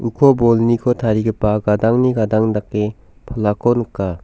ko bolniko tarigipa gadangni gadang dake palako nika.